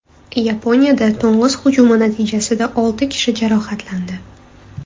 Yaponiyada to‘ng‘iz hujumi natijasida olti kishi jarohatlandi.